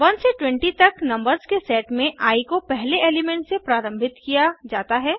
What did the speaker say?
1 से 20 तक नंबर्स के सेट में आई को पहले एलिमेंट से प्रारम्भित किया जाता है